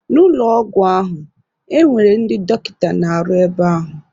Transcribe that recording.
N'ụlọ ọgwụ ahụ, e nwere ndị dọkịta na-arụ ebe ahụ.